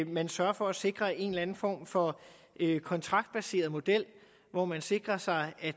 man sørger for at sikre en eller anden form for kontraktbaseret model hvor man sikrer sig at